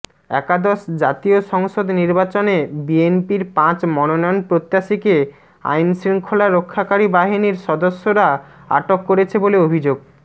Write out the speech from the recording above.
একাদশ জাতীয় সংসদ নির্বাচনে বিএনপির পাঁচ মনোনয়নপ্রত্যাশীকে আইনশৃঙ্খলা রক্ষাকারী বাহিনীর সদস্যরা আটক করেছে বলে অভিযোগ